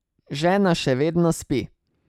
Žena še vedno spi.